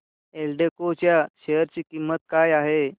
एल्डेको च्या शेअर ची किंमत काय आहे